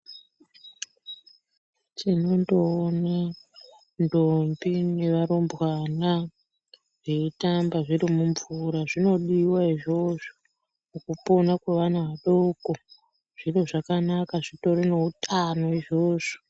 Tinondoone ndombi nevarumbwana veitambe zviri mumvura zvinodiwa izvozvo pakupona kweana adoko zviro zvakanaka zvitori neutano izvozvo.